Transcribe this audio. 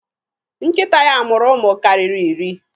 Nkịta ya mụrụ ụmụ karịrị iri.